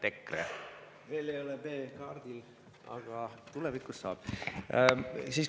Veel ei ole B-kaardil, aga tulevikus saab olema.